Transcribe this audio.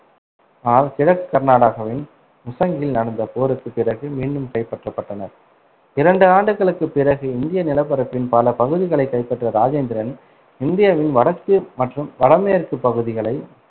ஆனால் கிழக்கு கர்நாடகாவின் முசங்கியில் நடந்த போருக்குப் பிறகு மீண்டும் கைப்பற்றப்பட்டனர். இரண்டு ஆண்டுகளுக்குப் பிறகு இந்திய நிலப்பரப்பின் பல பகுதிகளைக் கைப்பற்றிய ராஜேந்திரன், இந்தியாவின் வடக்கு மற்றும் வடமேற்குப் பகுதிகளை